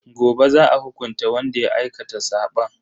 Gobe za a hukunta wanda ya aikata sabon.